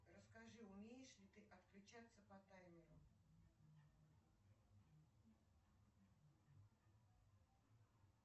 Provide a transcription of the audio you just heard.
расскажи умеешь ли ты отключаться по таймеру